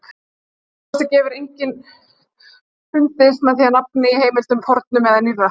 Að minnsta kosti hefur enginn fundist með því nafn í heimildum, fornum eða nýrri.